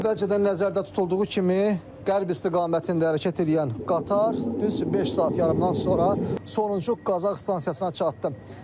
Əvvəlcədən nəzərdə tutulduğu kimi qərb istiqamətində hərəkət eləyən qatar düz beş saat yarımdan sonra sonuncu Qazax stansiyasına çatdı.